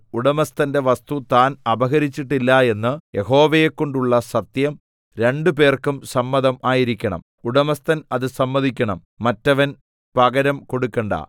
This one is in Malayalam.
ഉടമസ്ഥന്റെ വസ്തു താൻ അപഹരിച്ചിട്ടില്ല എന്ന് യഹോവയെക്കൊണ്ടുള്ള സത്യം രണ്ട് പേർക്കും സമ്മതം ആയിരിക്കണം ഉടമസ്ഥൻ അത് സമ്മതിക്കണം മറ്റവൻ പകരം കൊടുക്കണ്ട